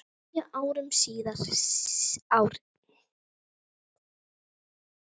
Níu árum síðar, árið